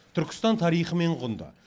түркістан тарихымен құнды